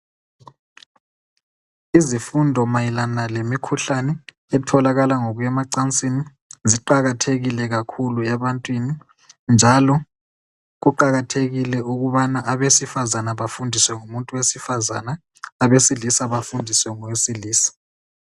Izifundo mayelana lemikhuhlane etholakala ngokuya emancasini ziqakathekile kakhulu ebantwini ,njalo kuqakathekile ukubana abesifazane bafundiswe ngumuntu wesifane abesilisa bafundiswe ngowesilisa.